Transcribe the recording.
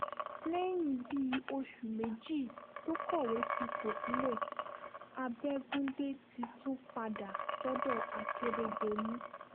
lẹ́yìn bíi oṣù méjì tó kọ̀wé fipò sílẹ̀ abẹ́gundé ti tún padà sọ́dọ̀ àkèrèdọ́lù